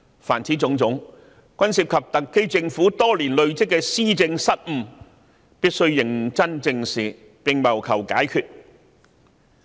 凡此種種均涉及特區政府多年來的施政失誤，必須認真正視，並謀求解決方法。